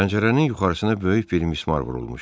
Pəncərənin yuxarısına böyük bir mismar vurulmuşdu.